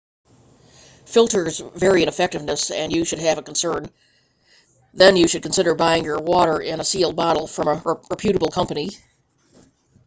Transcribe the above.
filters vary in effectiveness and should you have a concern then you should consider buying your water in a sealed bottle from a reputable company